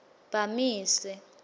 bamise